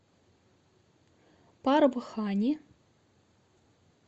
парбхани